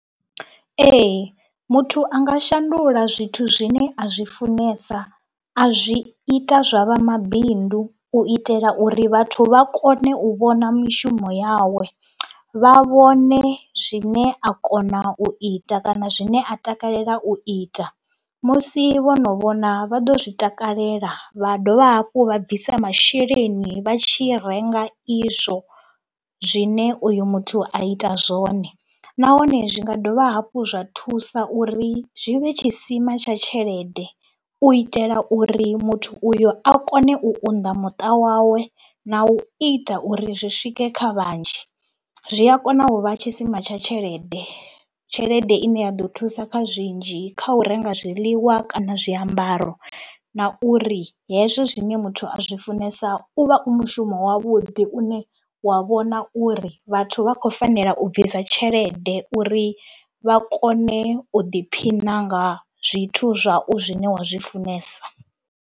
Ee, muthu a nga shandula zwithu zwine a zwi funesa a zwi ita zwa vha mabindu u itela uri vhathu vha kone u vhona mishumo yawe. Vha vhone zwine a kona u ita kana zwine a takalela u ita, musi vho no vhona vha ḓo zwi takalela vha dovha hafhu vha bvisa masheleni vha tshi renga izwo zwine uyo muthu a ita zwone nahone zwi nga dovha hafhu zwa thusa uri zwi vhe tshisima tsha tshelede u itela uri muthu uyo a kone u unḓa muṱa wawe na u ita uri zwi swike kha vhanzhi. Zwi a kona u vha tshisima tsha tshelede, tshelede ine ya ḓo thusa kha zwinzhi, kha u renga zwiḽiwa kana zwiambaro na uri hezwo zwine muthu a zwi funesa u vha u mushumo wavhuḓi une wa vhona uri vhathu vha khou fanela u bvisa tshelede uri vha kone u ḓiphina nga zwithu zwau zwine wa zwi funesa.